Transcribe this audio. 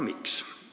Miks?